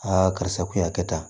karisa k'u y'a kɛ tan